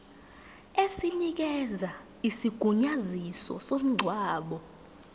esinikeza isigunyaziso somngcwabo